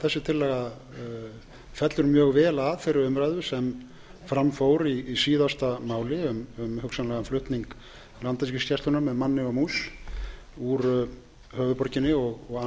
þessi tillaga fellur mjög vel að þeirri umræðu sem fram fór í síðasta máli um hugsanlegan flutning landhelgisgæslunnar með manni og mús úr höfuðborginni og